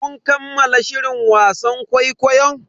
Kun kammala shirin wasan kwaikwayon?